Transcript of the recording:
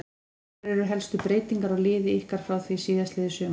Hverjar eru helstu breytingar á liði ykkar frá því síðastliðið sumar?